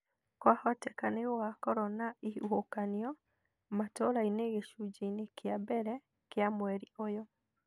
Kwahoteka nĩ gũgakorũo na ihuhũkanio Matũũrainĩ gĩcunjĩ-inĩ kĩa mbere kĩa mweri ũyũ